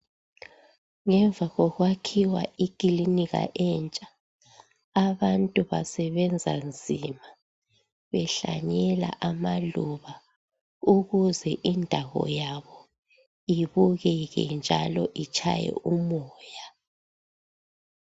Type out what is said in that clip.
Ngemva kokwakhiwa ikilinika entsha abantu basebenza nzima behlanyela amaluba ukuze indawo yabo ibukeke njalo itshaye umoya.